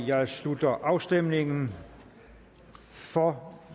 jeg slutter afstemningen for